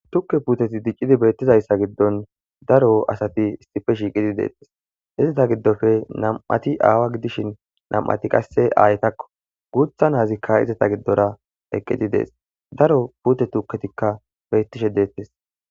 Tukke puuteti diccidi beetetizayssa giddon daro asati issipe shiiqidi dees izeta giddoppe nam'ati aawa gidishin nam'ati qasse aayetako guuththa naytika izeta giddora eqqidi dees daaro puute tukketikka beetishe dettees.